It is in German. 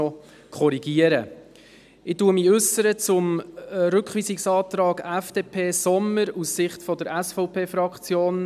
Ich äussere mich zum Rückweisungsantrag FDP/Sommer aus Sicht der SVP-Fraktion: